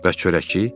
Bəs çörəkçi?